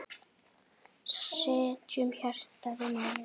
Setjum hjartað í málið.